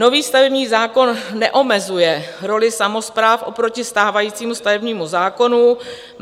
Nový stavební zákon neomezuje roli samospráv oproti stávajícímu stavebnímu zákonu.